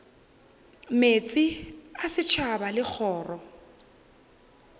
meetse a setšhaba le kgoro